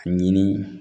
Ɲini